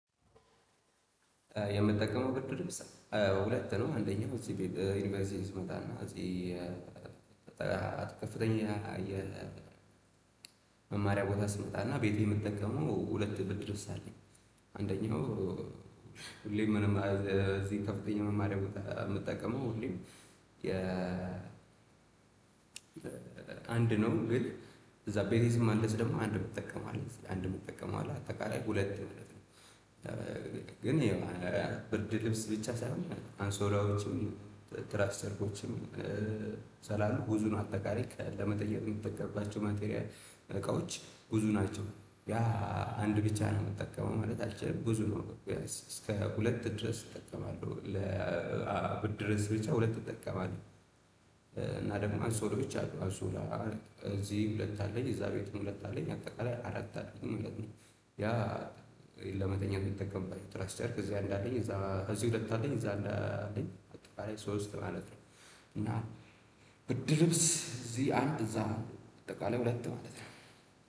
የምጠቀመው ብርድ ልብስ ሁለት ነው አንደኛው እዚህ ቤት ዩኒቨርሲቲ ይስመጣና። ከፍተኛ የመማሪያ ቦታ ስመጣና ቤቴ የምትጠቀመው ሁለት ብር ድረስ አለኝ። አንደኛው። ሁሌም ምንም እዚህ ከፍቶኝ መማሪያ የምጠቀመው ሁሌም። የ አንድ ነው ግን እዛ ቤቴ ስመለስ ደሞ አንድ እምተቀመው አለ አተቃላይ ሁለት ማለት ነው። ኝ ያው ብርድ ልብስ ብቻ ሳይሆን አሶላዎችም ትራስ ልብሲችም። ስላሉ ጉዙን አጠቃሪ ለመጠየቅ የሚጠቀርባቸው ማቴሪያል እቃዎች ጉዙ ናቸው። ያ አንድ ብቻ ነው የምጠቀመው ማለት አልችልም ብዙ ነው። እስከ ሁለት ድረስ እጠቀማለሁ ለብርድ ልብስ ብቻ ሁለት እጠቀማለሁ። እና ደግሞ አሶላወች አሉ። እዚህ ሁለት አለኝ እዛ ቤት ሁለት አለኝ አጠቃላይ አራት አለኝ ሁለት ነው። ያ ለመተኛ እምጠቀምባቸው ትራክስቸርክ እዚህ አንዳንዴ እዛ ከዚህ ሁለት አንዴ እዛ አንዳንዴ አጠቃላይ ሶስት ማለት ነው። እና ብድር ልብስ እዚህ አንጥ እዛ ነው በጠቃላይ ሁለት ማለት ነው።